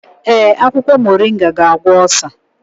Ee, akwụkwọ moringa ga-agwọ osa.